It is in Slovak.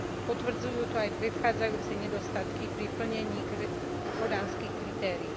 Potvrdzujú to aj predchádzajúce nedostatky pri plnení kodanských kritérií.